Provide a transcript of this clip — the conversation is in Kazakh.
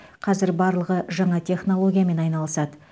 қазір барлығы жаңа технологиямен айналысады